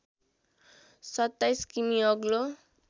२७ किमि अग्लो